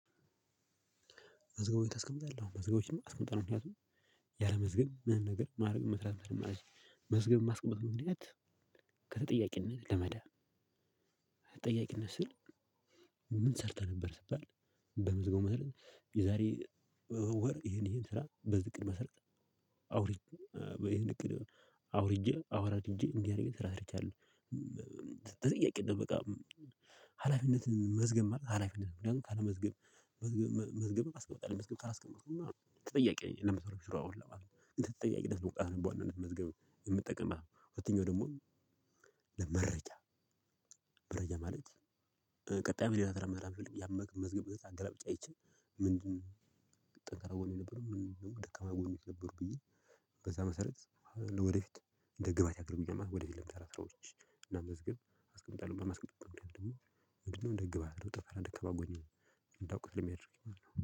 መዝገቡን ታስቀምጣለህ? አዎ መዝገቦችን አስቀምጠናል ምክንያቱም ያለመዝገብ ምንም ነገር ማድረግ መስራት መስገብ የማስቀምጥ ምክንያት ከተጠያቂነት ለመዳን። ተጠያቂነት ስል ምን ሰርተህ ነበር ስባል? በምዝገው መሰረት የዛሬ ወር ይሄን ይሄን ስራ በዚህ እቅድ መሰረት አውር አውርጄ አዋራድጄ እንዲህ አይነት ስራ ሰርቻለሁ። ተጠያቂ ነህ በቃ ሀላፊነትን መዝገብ ማለት ሀላፊነት ነው። ምክንያቱም ካለመዝገብ መዝገብ አስቀምጠሃል መዝገብ ካላስቀምጥቅማ ተጠያቂ ነህ ለምትሰሩት ስራ ሁላ ማለት ነው። እንደ ተጠያቂነት መቁጠሪያ መዝገብ የምጠቀምህበት ሁለተኛው ደግሞ መረጃ መረጃ ማለት። ቀጣይ ምን ለመመራመር ያመቅን መዝገብ እንደዛ አገላብጫ አይቼ ምንድነው? ጠንካራ ጎኔ የነበረው ምንድነው? ደካማ ጎን የነበሩ ብዬ በዛ መሰረት ወደፊት እንደ ግብአት ያቀርቡኛል ወደፊት ለምሳሌ ስራዎች እና መስገብ አስቀምጣለሁ። በማስቀምጠው ደግሞ ምንድነው እንደ ግብአት አድርገው ጠፈራ ደካማ ጎኔን እንዳውቅ የሚያደርገኝ